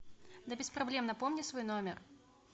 да без проблем напомни свой номер